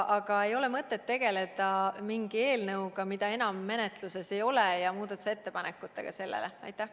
Aga ei ole mõtet tegeleda mingi eelnõuga, mida enam menetluses ei ole, ja muudatusettepanekutega selle kohta.